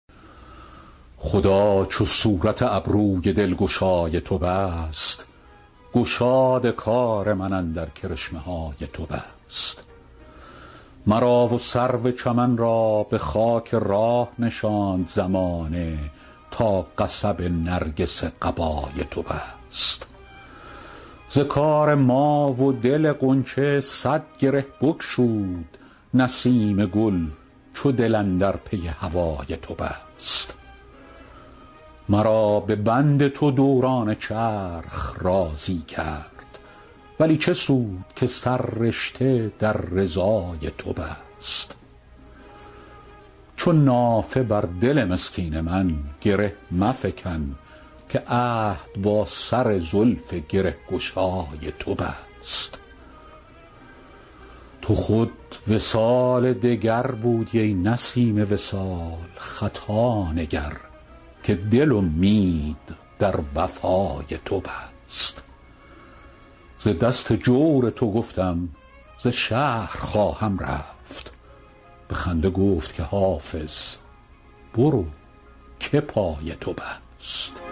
خدا چو صورت ابروی دلگشای تو بست گشاد کار من اندر کرشمه های تو بست مرا و سرو چمن را به خاک راه نشاند زمانه تا قصب نرگس قبای تو بست ز کار ما و دل غنچه صد گره بگشود نسیم گل چو دل اندر پی هوای تو بست مرا به بند تو دوران چرخ راضی کرد ولی چه سود که سررشته در رضای تو بست چو نافه بر دل مسکین من گره مفکن که عهد با سر زلف گره گشای تو بست تو خود وصال دگر بودی ای نسیم وصال خطا نگر که دل امید در وفای تو بست ز دست جور تو گفتم ز شهر خواهم رفت به خنده گفت که حافظ برو که پای تو بست